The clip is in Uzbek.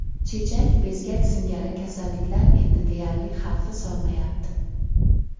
Chechak, bezgak singari kasalliklar endi deyarli xavfi solmayapti.